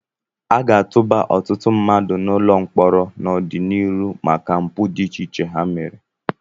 A ga-atụba ọtụtụ ndị mmadụ n'ụlọ mkpọrọ n'ọdịnihu maka mpụ dị iche iche ha mere.